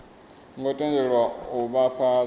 ngo tendelwa u vha fhasi